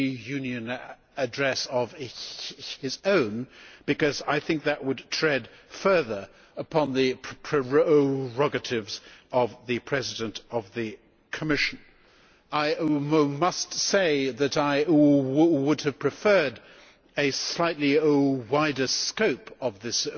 Union address of his own because I think that would tread further upon the prerogatives of the President of the Commission. I must say that I would have preferred a slightly wider scope to this